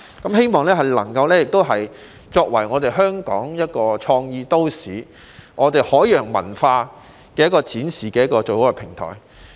我希望香港作為一個創意都市，是展示海洋文化最好的平台。